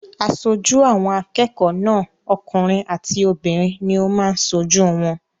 Aṣojú àwọn akẹ́kọ̀ọ́ náà okùnrin àti obìnrin ní ó máa n sojú wọn